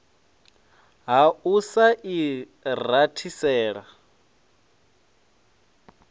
ha u sa i rathisela